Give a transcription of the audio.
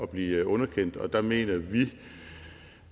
blive underkendt og der mener vi